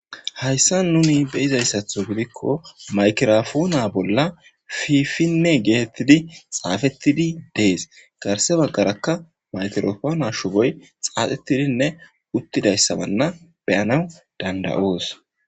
hayssa nuni beyizayssatho gidikko maykirafona bolla fifinne geetettidi xaafettidi dees garse baggarakka maytorofoona shuboy xaaxettidinne uttidayssabanna beyana danda7oos